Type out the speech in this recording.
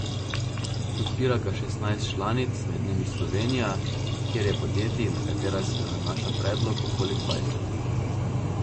Podpira ga šestnajst članic, med njimi Slovenija, kjer je podjetij, na katera se nanaša predlog, okoli dvajset.